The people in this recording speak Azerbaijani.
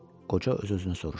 Qoca öz-özünə soruşdu.